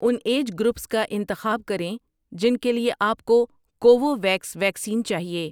ان age groups کا انتخاب کریں جن کے لیے آپ کو کوووویکس ویکسین چاہیے۔